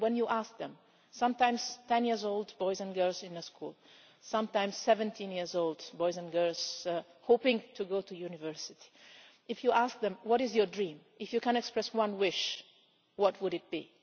When you ask them sometimes 10 year old boys and girls in the school, sometimes 17 year old boys and girls, hoping to go to university if you ask them what is your dream, if you can express one wish, what would it be?